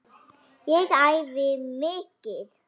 Ég æfi mikið.